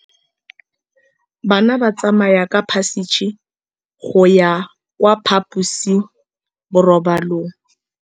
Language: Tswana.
Bana ba tsamaya ka phašitshe go ya kwa phaposiborobalong.